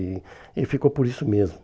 E e ficou por isso mesmo.